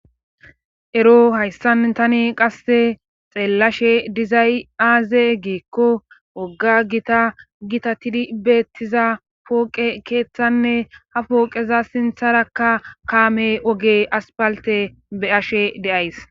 Ero hayssan tani qasse xeellashe dizay aaze giikko wogga gita gita tidi beettiza pooqe keeththanne ha pooqeza sintharakka kaame oge aspalte be ashe deays.